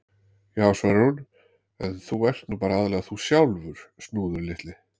Já, svarar hún: En þú ert nú bara aðallega þú sjálfur, Snúður litli.